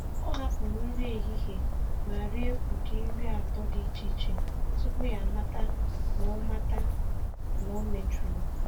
Ọ hapụrụ nri ehihie ma rie ụdị nri atọ dị iche iche tupu ya amata na ọ amata na ọ mejọrọ.